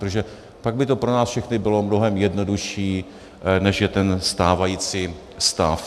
Protože pak by to pro nás všechny bylo mnohem jednodušší, než je ten stávající stav.